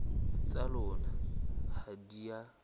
tsa lona ha di a